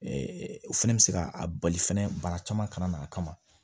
o fɛnɛ bɛ se ka a bali fɛnɛ bana caman kana na a kama